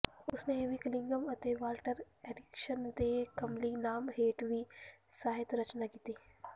ਉਸਨੇ E V Cunningham ਅਤੇ Walter Ericson ਦੇ ਕਲਮੀ ਨਾਮ ਹੇਠ ਵੀ ਸਾਹਿਤ ਰਚਨਾ ਕੀਤੀ